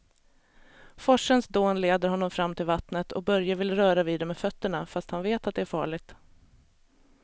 Forsens dån leder honom fram till vattnet och Börje vill röra vid det med fötterna, fast han vet att det är farligt.